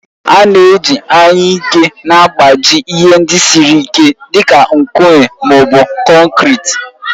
A na-eji anyụike na-agbaji ihe ndị siri ike dị ka nkume ma ọ bụ konkịtị.